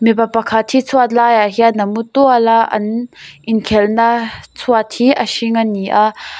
mipa pakhat hi chhuat laiah hian a mu tual a an inkhelhna chhuat hi a hring a ni a--